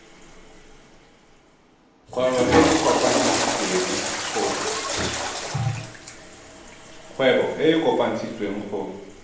kgwebo e e kopetswengcc go